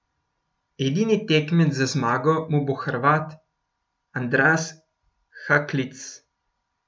Edini tekmec za zmago mu bo Hrvat Andras Haklits.